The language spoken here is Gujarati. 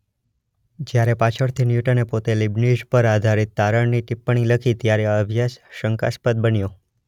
જ્યારે પાછળથી ન્યૂટને પોતે લીબનીઝ પર આધારિત તારણની ટીપ્પણી લખી ત્યારે આ અભ્યાસ શંકાસ્પદ બન્યો.